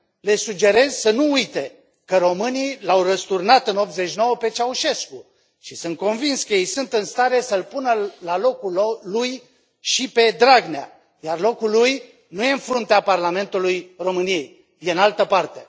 Le sugerez să nu uite că românii l au răsturnat în 1989 pe Ceaușescu și sunt convins că ei sunt în stare să îl pună la locul lui și pe Dragnea, iar locul lui nu e în fruntea Parlamentului României, este în altă parte.